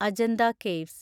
Ajanta caves